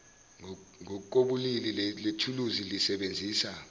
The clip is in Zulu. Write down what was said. ngokobulili lelithuluzi lisebenzisa